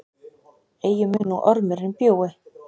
Eigi mun nú ormurinn bjúgi,